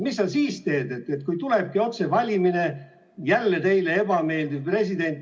Mis sa siis teed, kui tulebki otsevalimine ja jälle teile ebameeldiv president?